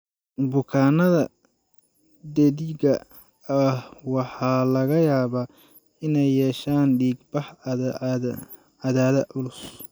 Bukaannada dheddigga ah waxaa laga yaabaa inay yeeshaan dhiig-bax caadada oo culus.